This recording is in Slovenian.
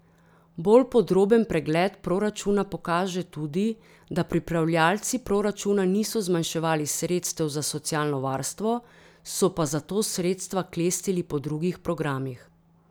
Bolj podroben pregled proračuna pokaže tudi, da pripravljalci proračuna niso zmanjševali sredstev za socialno varstvo, so pa zato sredstva klestili po drugih programih.